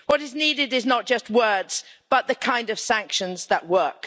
What is needed is not just words but the kind of sanctions that work.